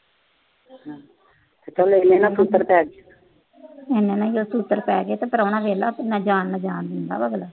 ਇਹਨਾਂ ਨੂੰ ਕੀ ਆ ਛਿੱਤਰ ਪੈ ਗਏ, ਪ੍ਰਾਹੁਣਾ ਦੇਖ ਲੈ ਜਾਣ ਦਿੰਦਾ ਪਿਆ।